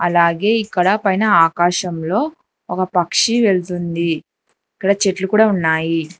అలాగే ఇక్కడ పైన ఆకాశంలో ఒక పక్షి వెల్తుంది ఇక్కడ చెట్లు కూడా ఉన్నాయి.